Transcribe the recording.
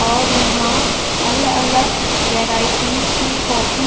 और यहा अलग अलग वेराइटीस की कॉपीस --